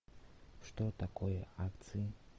что такое акции